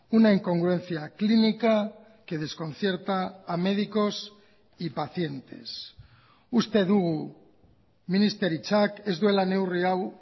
una incongruencia clínica que desconcierta a médicos y pacientes uste dugu ministeritzak ez duela neurri hau